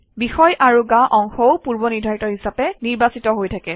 বিষয় আৰু গা অংশও পূৰ্বনিৰ্ধাৰিত হিচাপে নিৰ্বাচিত হৈ থাকে